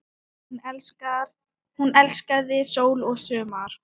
Hún elskaði sól og sumar.